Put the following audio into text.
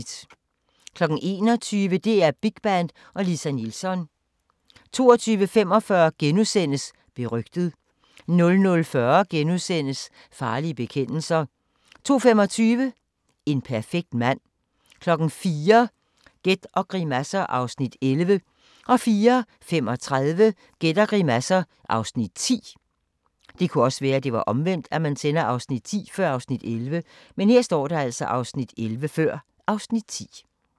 21:00: DR Big Band og Lisa Nilsson 22:45: Berygtet * 00:40: Farlige bekendelser * 02:25: En perfekt mand 04:00: Gæt og grimasser (Afs. 11) 04:35: Gæt og grimasser (Afs. 10)